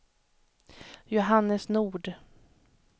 Johannes Nord